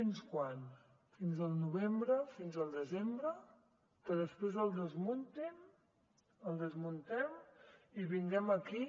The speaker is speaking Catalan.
fins quan fins al novembre fins al desembre que després el desmuntem i vinguem aquí